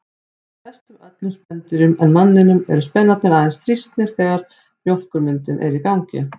Hjá flestum öðrum spendýrum en manninum eru spenarnir aðeins þrýstnir þegar mjólkurmyndun er í gangi.